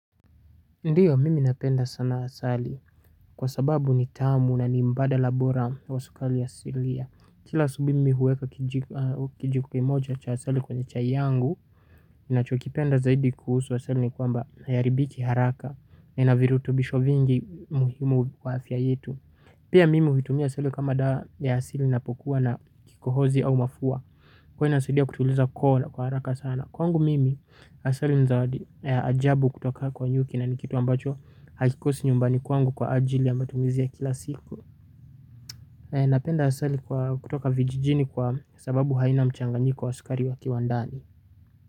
Ndiyo mimi napenda sana asali kwa sababu ni tamu na ni mbadala bora wa sukari asilia. Kila asubuhi mimi huweka kijiko kimoja cha asali kwenye chai yangu ninachokipenda zaidi kuhusu asali ni kwamba haiharibiki haraka na inavirutubisho vingi muhimu wa afya yetu. Pia mimi huitumia asali kama dawa ya asili napokuwa na kikohozi au mafua. Kwani inasidia kutuliza koo kwa haraka sana. Kwangu mimi asali ni zawadi ya ajabu kutoka kwa nyuki na nikitu ambacho hakikosi nyumbani kwangu kwa ajili ya matumizi ya kila siku. Napenda asali kutoka vijijini kwa sababu haina mchanganyiko wa sukari ya kiwandani.